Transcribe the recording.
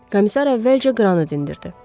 Komissar əvvəlcə Qranı dindirdi.